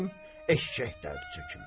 eşşək dərdi çəkim.